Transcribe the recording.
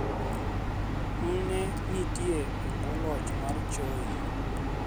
M ne nitie e bwo loch mar Choi